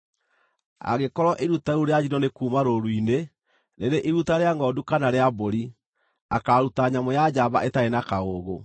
“ ‘Angĩkorwo iruta rĩu rĩa njino nĩ kuuma rũũru-inĩ, rĩrĩ iruta rĩa ngʼondu kana rĩa mbũri, akaaruta nyamũ ya njamba ĩtarĩ na kaũũgũ.